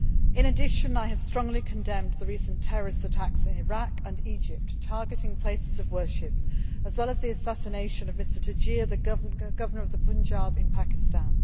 I have also strongly condemned the recent terrorist attacks in Iraq and Egypt targeting places of worship, as well as the assassination of Salmaan Taseer, the Governor of the Punjab in Pakistan.